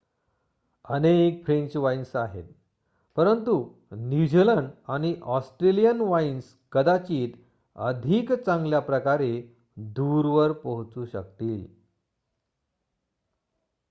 अनेक French wines आहेत परंतु न्यूझिलंड आणि ऑस्ट्रेलियन वाइन्स कदाचित अधिक चांगल्याप्रकारे दूरवर पोहोचू शकतील